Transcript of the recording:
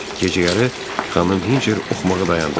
Gecəyarı xanım Hinçer oxumağı dayandırır.